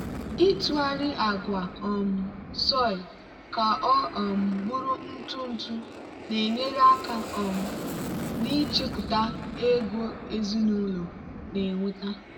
ịtụgharị agwa um soy ka ọ um bụrụ ntụ ntụ na-enyere aka um n'ichepụta ego ezinụlọ na-enweta.